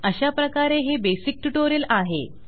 अशाप्रकारे हे basic tutorial आहे